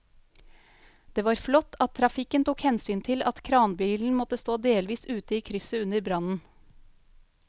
Det var flott at trafikken tok hensyn til at kranbilen måtte stå delvis ute i krysset under brannen.